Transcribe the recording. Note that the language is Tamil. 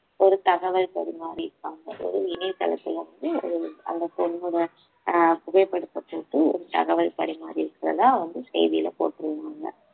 ஒரு தகவல் பரிமாறியிருக்காங்க ஒரு இணையதளத்துல அது வந்து அந்த பொண்ணோட அஹ் புகைப்படத்தை போட்டு ஒரு தகவல் பரிமாறி இருக்கிறதா வந்து செய்தியில போட்டிருந்தாங்க